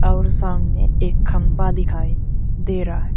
और सामने एक खंभा दिखाई दे रहा है।